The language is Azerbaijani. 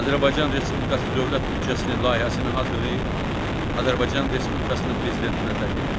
Azərbaycan Respublikası Dövlət büdcəsinin layihəsini hazırlayıb, Azərbaycan Respublikasının prezidentinə təqdim edir.